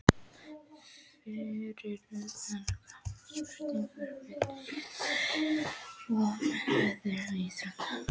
Fyrir utan knattspyrnu, fylgist þú með öðrum íþróttum?